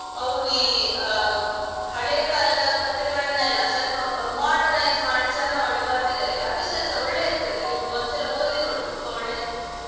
ಅವರು ಈ ಅಹ್ ಹಳೆಕಾಲದ ಕತೆಗಳನೆಲ್ಲಾ ಸ್ವಲ್ಪ modernize ಮಾಡಿ ಚಂದ ಮಾಡಿ ಬರ್ದಿದ್ದಾರೆ ಅದುಸ ಒಳ್ಳೆ ಇರ್ತದೆ ನೀವ್ ಒಂದ್ಸಲ ಓದಿ ನೋಡಿ ತುಂಬ ಒಳ್ಳೆ ಇರ್ತದೆ.